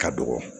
Ka dɔgɔ